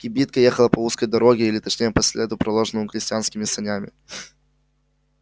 кибитка ехала по узкой дороге или точнее по следу проложенному крестьянскими санями